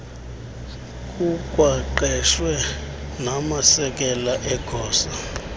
kukwaqeshwe namasekela egosa